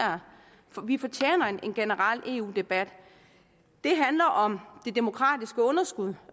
vi fortjener en generel eu debat det handler om det demokratiske underskud